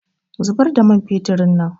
Zubar da man feturin nan